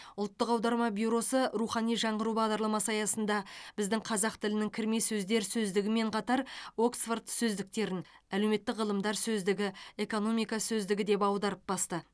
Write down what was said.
ұлттық аударма бюросы рухани жаңғыру бағдарламасы аясында біздің қазақ тілінің кірме сөздер сөздігімен қатар оксфорд сөздіктерін әлеуметтік ғылымдар сөздігі экономика сөздігі деп аударып басты